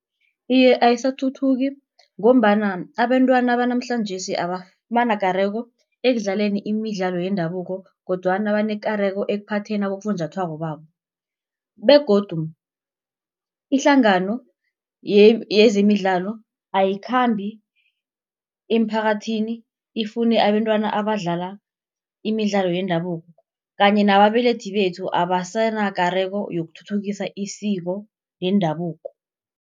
Iye ayisathuthuki ngombana abentwana banamhlanjesi abanakareko ekudlaleni imidlalo yendabuko, kodwana banekareko ekuphatheni abofunjathwako babo, begodu ihlangano yezemidlalo ayikhambi emphakathini ifune abentwana abadlala imidlalo yendabuko. Kanye nababelethi bethu abasenakareko yokuthuthukisa isiko yendabuko.